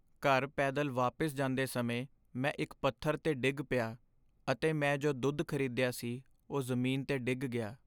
ਘਰ ਪੈਦਲ ਵਾਪਿਸ ਜਾਂਦੇ ਸਮੇਂ, ਮੈਂ ਇੱਕ ਪੱਥਰ 'ਤੇ ਡਿੱਗ ਪਿਆ, ਅਤੇ ਮੈਂ ਜੋ ਦੁੱਧ ਖ਼ਰੀਦਿਆ ਸੀ ਉਹ ਜ਼ਮੀਨ 'ਤੇ ਡਿੱਗ ਗਿਆ।